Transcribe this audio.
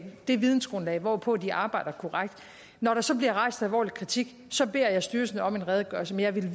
det vidensgrundlag hvorpå de arbejder korrekt når der så bliver rejst alvorlig kritik beder jeg styrelsen om en redegørelse men jeg vil